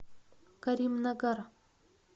каримнагар